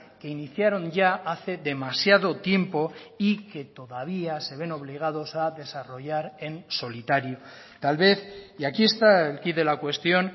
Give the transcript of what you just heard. que iniciaron ya hace demasiado tiempo y que todavía se ven obligados a desarrollar en solitario tal vez y aquí está el quid de la cuestión